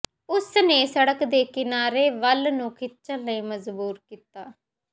ਉਸਨੇ ਸੜਕ ਦੇ ਕਿਨਾਰੇ ਵੱਲ ਨੂੰ ਖਿੱਚਣ ਲਈ ਮਜਬੂਰ ਕੀਤਾ